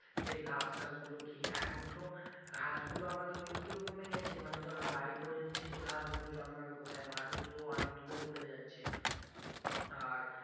সে ঘাস টাস গুলো খেয়ে এখন তো ঘাস গুলো আমাদের ওইদিকে কমে গেছে মানে ধর বাড়ি করে নিচ্ছে তো ঘাস গুলো জন্মাবে কোথায় মাঠও তো অনেক দূরে পড়ে যাচ্ছে আর